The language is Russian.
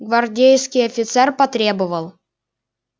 гвардейский офицер потребовал